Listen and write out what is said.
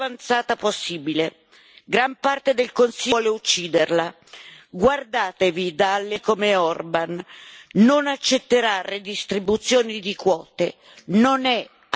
Gran parte del Consiglio vuole ucciderla, guardatevi da alleati come Orban non accetterà redistribuzione di quote, non è amico del governo italiano.